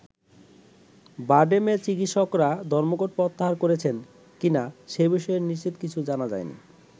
বারডেমের চিকৎিসকরা ধর্মঘট প্রত্যাহার করেছেন কিনা সে বিষয়ে নিশ্চিত কিছু জানা যায়নি।